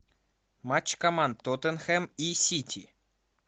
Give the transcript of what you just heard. матч команд тоттенхэм и сити